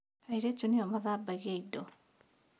Airĩtu nĩo mathambagia indo